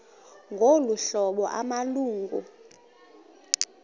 ngolu hlobo amalungu